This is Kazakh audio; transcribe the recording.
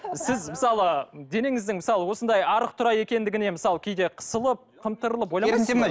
сіз мысалы денеңіздің мысалы осындай арық тұра екендігіне мысалы кейде қысылып қымтырылып